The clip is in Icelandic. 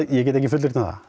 ég get ekki fullyrt um það